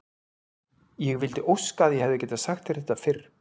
Ég vildi óska að ég hefði getað sagt þér þetta fyrr.